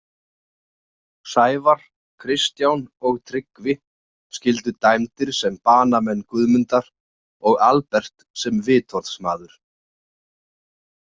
Sævar, Kristján og Tryggvi skyldu dæmdir sem banamenn Guðmundar og Albert sem vitorðsmaður.